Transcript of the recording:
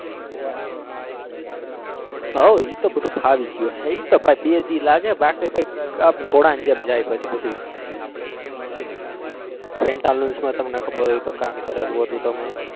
હઓ ઈ તો બધું ફાવી ગયું હે ઈ તો બે દી લાગે બાકી તો આમ ઘોડા ના જેમ જાય પછી બધું pantaloons માં તમને ખબર હોય તો કામ કરેલું હતું તમે.